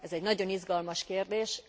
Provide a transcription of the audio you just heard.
Ez egy nagyon izgalmas kérdés.